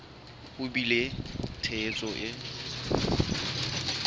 ho bile le tshehetso e